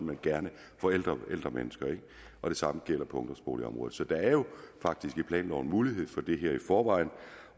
men gerne for ældre mennesker det samme gælder på ungdomsboligområdet så der er jo faktisk i planloven mulighed for det her i forvejen